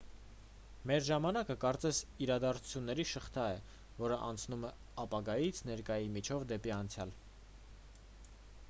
մեր ժամանակը կարծես իրադարձությունների շղթա է որն անցնում է ապագայից ներկայի միջով դեպի անցյալ